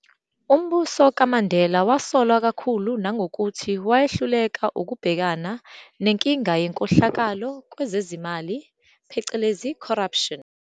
Umbuso kaMandela wasolwa kakhulu nangokuthi wayehluleka ukubhekana nenkinga yenkohlakalo kwezezimali, corruption.